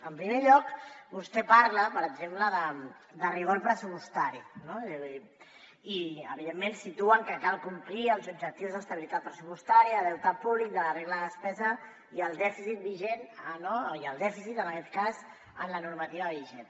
en primer lloc vostè parla per exemple de rigor pressupostari no i evidentment situa que cal complir els objectius d’estabilitat pressupostària deute públic de la regla de despesa i el dèficit vigent i el dèficit en aquest cas en la normativa vigent